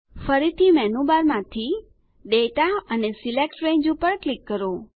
ફરીથી મેનુ બારમાંથી દાતા અને સિલેક્ટ રંગે પર ક્લિક કરો